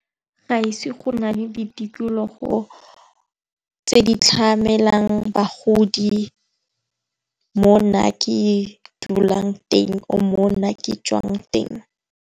Ga ise go na le ditikologo tse di tlhamalang bagodi mo nna ke e dulang teng or mo nna ke tswang teng.